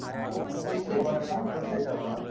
हा बिजनेस आठवत नाही मला